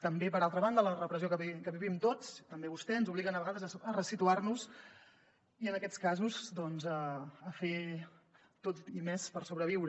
també per altra banda la repressió que vivim tots també vostè ens obliga a vegades a ressituar nos i en aquests casos doncs a fer tot i més per sobreviure